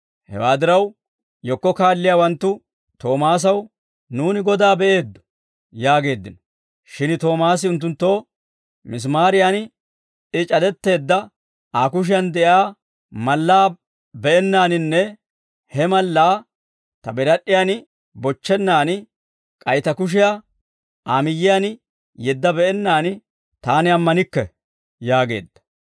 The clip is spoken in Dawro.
Hewaa diraw, yekko kaalliyaawanttu Toomaasaw, «Nuuni Godaa be'eeddo!» yaageeddino. Shin Toomaasi unttunttoo, «Misimaariyan I c'adetteedda Aa kushiyan de'iyaa mallaa be'ennaaninne he mallaa ta birad'd'iyan bochchennan, k'ay ta kushiyaa Aa miyyiyaan yeedda be'ennaan taani ammanikke» yaageedda.